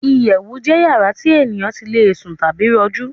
Ìyẹ̀wù jẹ́ yàrá tí ènìyàn tí le sùn tàbí rọjú